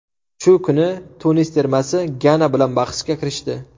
Shu kuni Tunis termasi Gana bilan bahsga kirishdi.